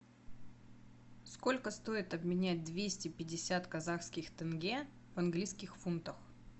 сколько стоит обменять двести пятьдесят казахских тенге в английских фунтах